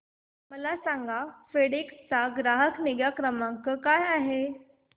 मला सांगा फेडेक्स चा ग्राहक निगा क्रमांक काय आहे